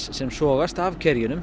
sem sogast af